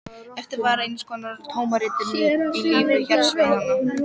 Eftir varð eins konar tómarúm í lífi hjarðsveinanna.